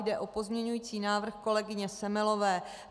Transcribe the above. Jde o pozměňující návrh kolegyně Semelové.